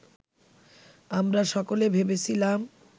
আমরা সকলে ভেবেছিলাম